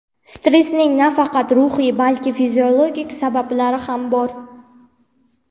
Stressning nafaqat ruhiy, balki fiziologik sabablari ham bor.